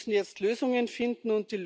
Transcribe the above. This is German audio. Wir müssen jetzt Lösungen finden.